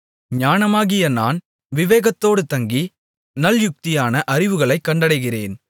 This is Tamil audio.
ஞானமாகிய நான் விவேகத்தோடு தங்கி நல்யுக்தியான அறிவுகளைக் கண்டடைகிறேன்